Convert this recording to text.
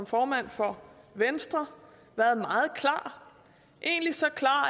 formand for venstre været meget klar egentlig så klar